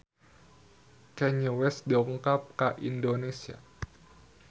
Kanye West dongkap ka Indonesia